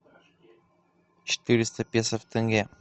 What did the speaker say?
четыреста песо в тенге